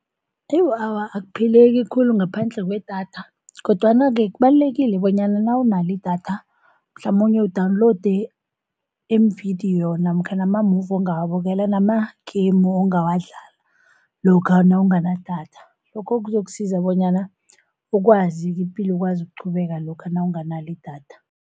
Awa akuphileki khulu ngaphandle kwedatha, kodwana-ke kubalulekile bonyana nawunalo idatha mhlamunye u-download iimvidiyo namkha namamuvi ongawabukela nama-game ongawadlala lokha nawunganadatha. Lokho kuzokusiza bonyana ukwazi, ipilo ikwazi ukuqhubeka lokha nawunganalo idatha.